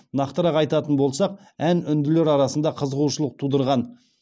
нақтырақ айтатын болсақ ән үнділер арасында қызығушылық тудырған